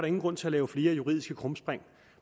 ingen grund til at lave flere juridiske krumspring